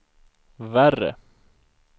värre